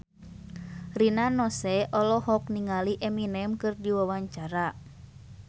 Rina Nose olohok ningali Eminem keur diwawancara